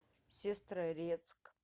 сестрорецк